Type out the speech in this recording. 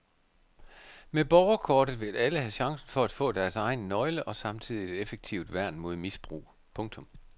Med borgerkortet vil alle have chancen for at få deres egen nøgle og samtidig et effektivt værn mod misbrug. punktum